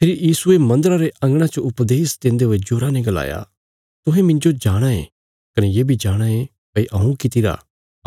फेरी यीशुये मन्दरा रे अंगणा च उपदेश देन्दे हुये जोरा ने गलाया तुहें मिन्जो जाणाँ ये कने ये बी जाणाँ ये भई हऊँ कित्तिरा